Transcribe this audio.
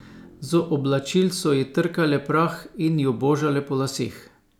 Z oblačil so ji trkale prah in jo božale po laseh.